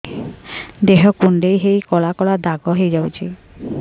ଦେହ କୁଣ୍ଡେଇ ହେଇ କଳା କଳା ଦାଗ ହେଇଯାଉଛି